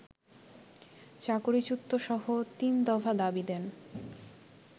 চাকরিচ্যুতসহ তিনদফা দাবি দেন